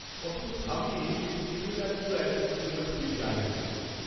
কখনও ভাবিনি যে স্ট্রিমিং অ্যাপগুলো একদিন কেবল টিভির জায়গা নিয়ে নেবে!